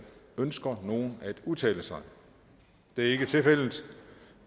ønsker nogen at udtale sig det er ikke tilfældet så